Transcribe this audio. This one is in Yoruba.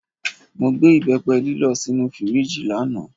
Mo gbé ìbẹ́pẹ lílọ̀ sínú fíríjì lánàá.